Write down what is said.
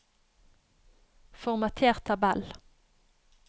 Formater tabell